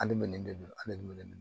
Hali ni nin de don hali ni ne